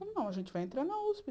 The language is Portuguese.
Não, a gente vai entrar na usp.